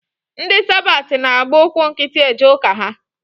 Ndị sabat na-agba ụkwụ nkịtị eje ụka ha.